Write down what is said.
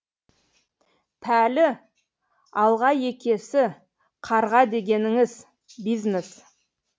пәлі алғаекесі қарға дегеніңіз бизнес